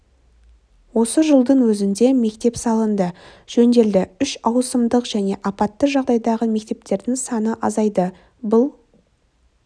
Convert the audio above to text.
осы жылдың өзінде мектеп салынды жөнделді үш ауысымдық және апатты жағдайдағы мектептердің саны азайды бұл